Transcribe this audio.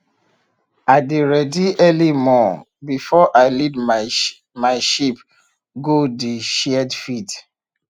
i dey ready early morn before i lead my my sheep go the shared field